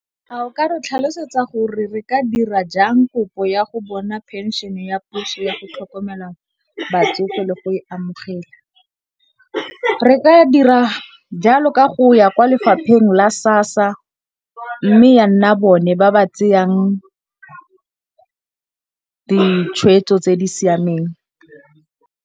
A o ka re tlhalosetsa gore re ka dira jang kopo ya go bona phenšene ya puso ya go tlhokomela batsofe le go e amogela? Re ka dira jalo ka go ya kwa lefapheng la SASSA, mme ya nna bone ba ba tseyang ditshwetso tse di siameng.